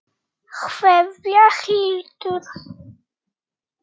Kveðja, Hildur.